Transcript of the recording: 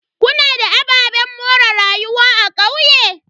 Kuna da ababen more rayuwa a kauye?